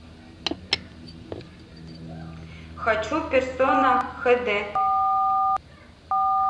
хочу персона хд